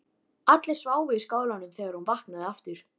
Allir sváfu í skálanum þegar hún vaknaði aftur.